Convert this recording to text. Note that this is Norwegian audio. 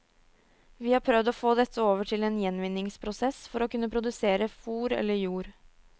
Vi har prøvd å få dette over til en gjenvinningsprosess, for å kunne produsere fôr eller jord.